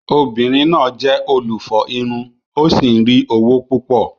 Obìnrin náà jẹ́ olùfọ irun ó sì ń rí owó púpọ̀.